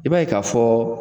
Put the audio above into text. I b'a ye ka fɔ,